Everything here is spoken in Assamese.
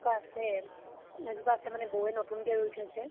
এজোপা আছে । এজোপাআছে মানে, বৌ য়ে নতুন কে ৰুই থৈছে